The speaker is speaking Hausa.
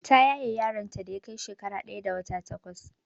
Ta yaye yaron ta da yakai shekara ɗaya da wata takwas